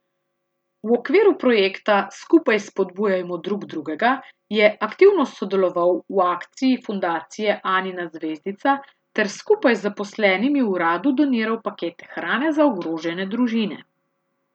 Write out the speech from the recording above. V okviru projekta Skupaj spodbujajmo drug drugega je aktivno sodeloval v akciji Fundacije Anina zvezdica ter skupaj z zaposlenimi v uradu doniral pakete hrane za ogrožene družine.